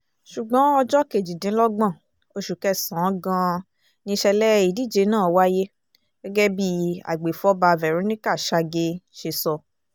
ṣùgbọ́n ọjọ́ kejìdínlọ́gbọ̀n oṣù kẹsàn-án gan-an nìṣẹ̀lẹ̀ ìdíje náà wáyé gẹ́gẹ́ bí agbèfọ́ba verónica shaagee ṣe sọ